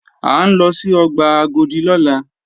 À ń lọ sí ọgbà Agodi lọ́la